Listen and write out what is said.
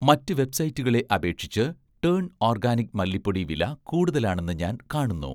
മറ്റ് വെബ്‌സൈറ്റുകളെ അപേക്ഷിച്ച് 'ടേൺ ഓർഗാനിക്' മല്ലിപ്പൊടി വില കൂടുതലാണെന്ന് ഞാൻ കാണുന്നു